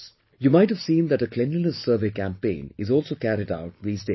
You might have seen that a cleanliness survey campaign is also carried out these days